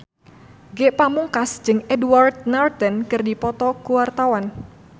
Ge Pamungkas jeung Edward Norton keur dipoto ku wartawan